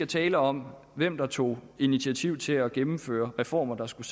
tale om hvem der tog initiativ til at gennemføre reformer der skulle